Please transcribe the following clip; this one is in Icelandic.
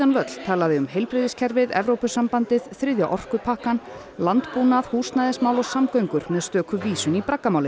völl talaði um heilbrigðiskerfið Evrópusambandið þriðja orkupakkann landbúnað húsnæðismál og samgöngur með stöku vísun í